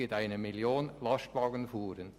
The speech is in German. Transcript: Somit ergibt es eine Million Lastwagenfuhren.